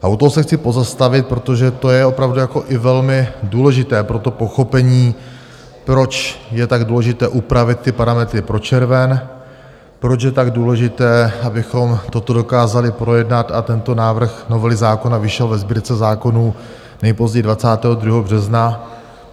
A u toho se chci pozastavit, protože to je opravdu jako i velmi důležité pro to pochopení, proč je tak důležité upravit ty parametry pro červen, proč je tak důležité, abychom toto dokázali projednat a tento návrh novely zákona vyšel ve Sbírce zákonů nejpozději 22. března.